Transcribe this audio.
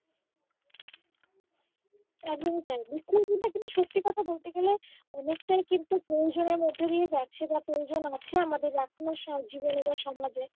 একদমই তাই বৃক্ষ রোপনটা কিন্তু সত্যি কথা বলতে গেলে অনেকটাই কিন্তু প্রয়োজনের মধ্য দিয়ে যাচ্ছে বা প্রয়োজন আছে আমাদের জীবনে বা সমাজে